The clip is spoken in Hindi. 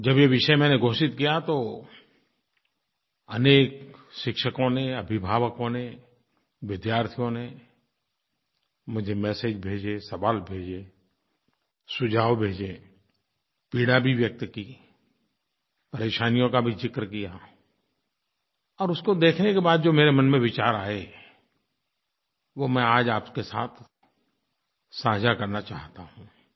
जब ये विषय मैंने घोषित किया तो अनेक शिक्षकों ने अभिभावकों ने विद्यार्थियों ने मुझे मेसेज भेजे सवाल भेजे सुझाव भेजे पीड़ा भी व्यक्त की परेशानियों का भी ज़िक्र किया और उसको देखने के बाद जो मेरे मन में विचार आए वो मैं आज आपके साथ साझा करना चाहता हूँ